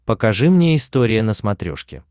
покажи мне история на смотрешке